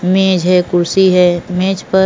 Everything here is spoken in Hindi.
मेंझ है खुर्सी है मेंझ पर --